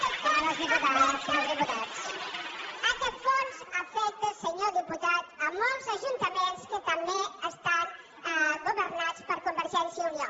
afecta aquest fons afecta senyor diputat molts ajuntaments que també estan governats per convergència i unió